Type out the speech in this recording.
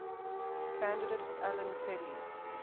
candidate alan kelly